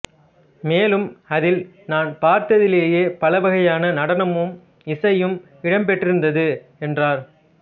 மேலும் அதில் நான் பார்த்ததிலேயே பல வகையான நடனமும் இசையும் இடம்பெற்றிருந்தது என்றார்